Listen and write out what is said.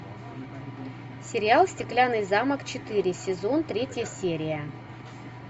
сериал стеклянный замок четыре сезон третья серия